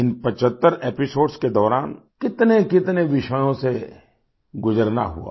इन 75 episodes के दौरान कितनेकितने विषयों से गुजरना हुआ